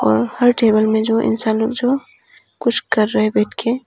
और हर टेबल में जो इंसान लोग जो कुछ कर रहे हैं बैठ के।